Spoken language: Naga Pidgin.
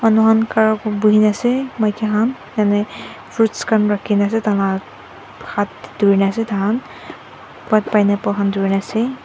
manukhan khara bhunina ase maike khan fruits khan rakhina ase taikhan la haat durina ase taihan pineapple durina ase.